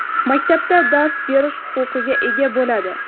maktabda dars berish huquqiga ega bo‘ladi.